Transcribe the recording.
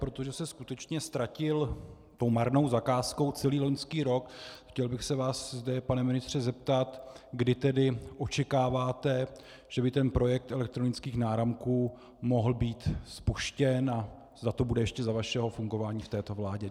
Protože se skutečně ztratil tou marnou zakázkou celý loňský rok, chtěl bych se vás zde, pane ministře, zeptat, kdy tedy očekáváte, že by ten projekt elektronických náramků mohl být spuštěn a zda to bude ještě za vašeho fungování v této vládě.